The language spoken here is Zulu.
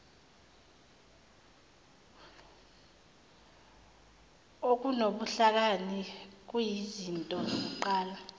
okunobuhlakani kuyizinto zokuqala